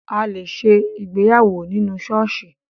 A lè ṣe ìgbéyàwó nínú ṣọ́ọ̀ṣì